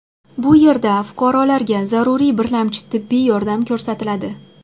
Bu yerda fuqarolarga zaruriy birlamchi tibbiy yordam ko‘rsatiladi.